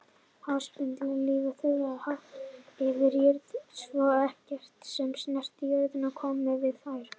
Háspennulínur þurfa að vera hátt yfir jörðinni svo ekkert sem snertir jörð komi við þær.